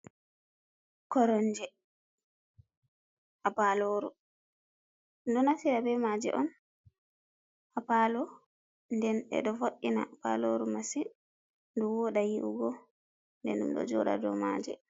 Koromje ha paloru, ɗum ɗo nastira be maaje on haa paalo, nden ɗe ɗo vo’ina paloru masin ndu wooɗa yi’ugo, nden ɗum ɗo jooɗa doo maaje.